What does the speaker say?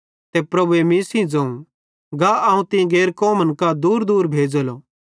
ते प्रभुए मीं सेइं ज़ोवं गा अवं तीं गैर कौमन कां दूरदूर भेज़ेलो